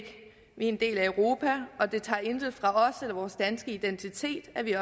en del af europa og det tager intet fra os eller vores danske identitet at vi